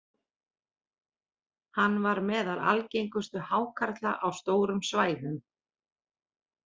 Hann var meðal algengustu hákarla á stórum svæðum.